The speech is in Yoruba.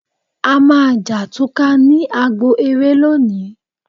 A máa jà túká ní agbo eré lónìí